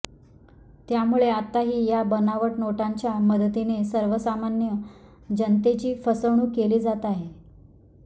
त्यामुळे आताही या बनावट नोटांच्या मदतीने सर्वसामान्य जनतेची फसवणूक केली जात आहे